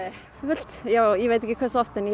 já ég veit ekki hversu oft en